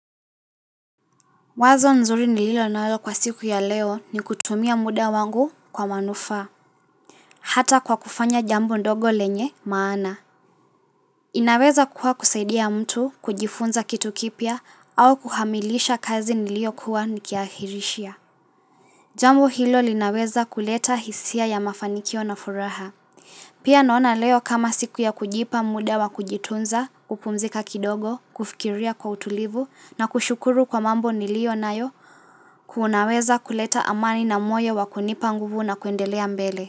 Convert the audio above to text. Wazo nzuri nilio nayo kwa siku ya leo ni kutumia muda wangu kwa manufaa. Hata kwa kufanya jambo ndogo lenye maana. Inaweza kuwa kusaidia mtu kujifunza kitu kipya au kuhamilisha kazi niliokuwa nikiahirishia. Jambo hilo linaweza kuleta hisia ya mafanikio na furaha. Pia naona leo kama siku ya kujipa muda wa kujitunza, kupumzika kidogo, kufikiria kwa utulivu, na kushukuru kwa mambo nilio nayo, kunaweza kuleta amani na moyo wa kunipa nguvu na kuendelea mbele.